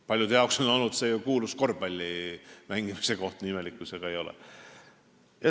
Paljudele on see olnud ju kuulus korvpalli mängimise koht, nii imelik kui see ka ei ole.